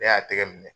Ne y'a tɛgɛ minɛ